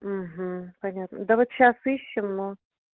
понятно да вот сейчас ищем но